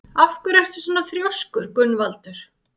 Af hverju ertu svona þrjóskur, Gunnvaldur?